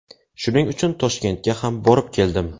Shuning uchun Toshkentga ham borib keldim.